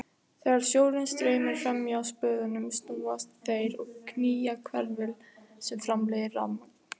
Þegar sjórinn streymir fram hjá spöðunum snúast þeir og knýja hverfil sem framleiðir rafmagn.